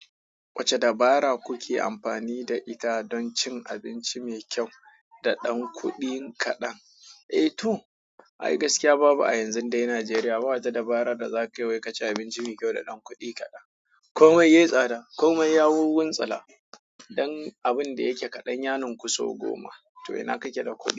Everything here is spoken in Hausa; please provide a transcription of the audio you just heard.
Wacce dabara kuke amfani da ita don cin abinci mai kyau da ɗan kuɗin kaɗan? Eh to, ai gaskiya babu a yanzun dai Najeriya, ba ta dabara da za kayi wai kaci abinci mai kyau da ɗan kuɗi kaɗan. Komai yayi tsada. Komai ya wunwuntsula don abin da yake kaɗan yaninku sau goma. To ina kake da kudi.